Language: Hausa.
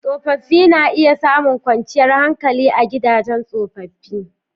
Tsofaffi na iya samun kwanciyar hankali a gidajen tsofaffi.